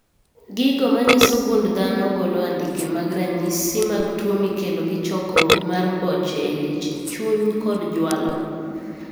Gigo manyiso gund dhano golo andike mag ranyisi mag tuo mikelo gi chokruok mar boche e leche, chuny kod jwalo